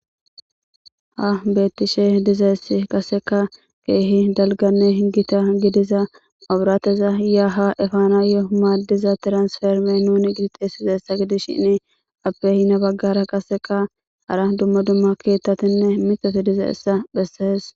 Ha beeththishe dizayssi qassekka keehin dalgganne hinggida gidiza maabraatheza yaa haa efaanaayyoo maaddiza transferme nuuni giizi xeessizayssa gidishini appe hini baggaara qassekka hara dumma dumma keeththathinne miiththa diza7essa bessees.